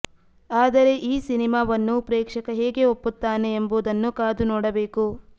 ಆದರೆ ಈ ಸಿನಿಮಾವನ್ನು ಪ್ರೇಕ್ಷಕ ಹೇಗೆ ಒಪ್ಪುತ್ತಾನೆ ಎಂಬುದನ್ನು ಕಾದು ನೋಡಬೇಕು